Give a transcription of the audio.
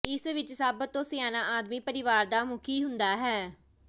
ਇਸ ਵਿੱਚ ਸਭ ਤੋਂ ਸਿਆਣਾ ਆਦਮੀ ਪਰਿਵਾਰ ਦਾ ਮੁਖੀ ਹੁੰਦਾ ਹੈ